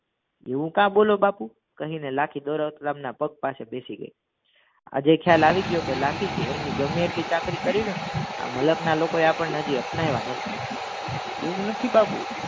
એવું કા બોલો બાપુ કહીને લાખી દોલતરામ ના પગ પાસે બેસી ગઈ આજે ખ્યાલ આવી ગયો લાખી એમની ગમે એટલી ચાકરી આ મલકના લોકોએ આપણે હજી અપનાવ્યા નથી એવું નથી બાપુ